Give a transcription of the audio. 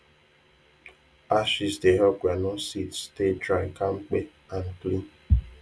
ashes dey help groundnut seed stay dry kampe and clean